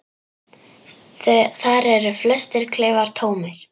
Þar eru flestir klefar tómir.